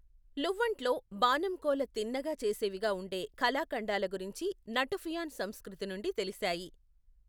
లువ్వన్ట్లో, బాణం కోల తిన్నగా చేసేవిగా ఉండే కళాఖండాల గురించి నటుఫియాన్ సంస్కృతి నుండి తెలిశాయి.